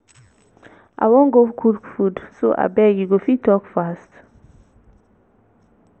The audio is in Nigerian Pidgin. i wan go cook food so abeg you go fit talk fast?